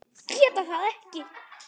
Geta það ekki.